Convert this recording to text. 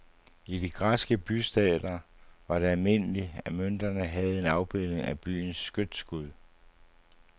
I de græske bystater var det almindeligt, at mønterne havde en afbildning af byens skytsgud.